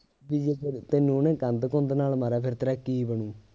ਬਈ ਜੇ ਫਿਰ ਤੈਨੂੰ ਉਹਨੇ ਕੰਧ ਕੁੰਧ ਨਾਲ ਮਾਰਿਆ ਫਿਰ ਤੇਰਾ ਕੀ ਬਣੂੰ